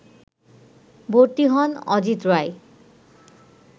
ভর্তি হন অজিত রায়